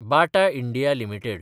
Bata India limited